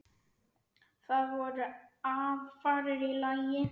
Það voru aðfarir í lagi!